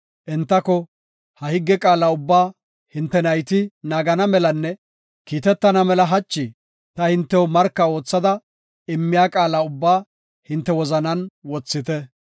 entako, “Ha higge qaala ubbaa hinte nayti naagana melanne kiitetana mela hachi ta hintew marka oothada immiya qaala ubbaa hinte wozanan wothite.